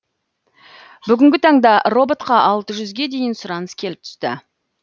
бүгінгі таңда роботқа алты жүзге дейін сұраныс келіп түсті